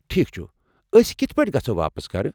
ٹھیكھ چُھ ، أسۍ کتھہٕ پٲٹھۍ گژھو واپس گرٕ؟